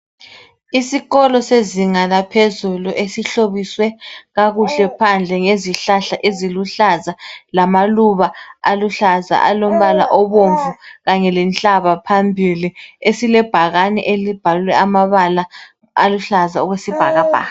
Isikolo sezinga laphezulu esihlobiswe kakuhle phandle ngezihlahla eziluhlaza lamaluba aluhlaza alombala obomvu kanye lenhlaba phambili esilebhakane elibhalwe amabala aluhlaza okwesibhakabhaka.